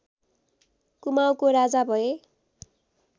कुमाउँको राजा भए